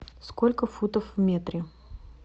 сколько футов в метре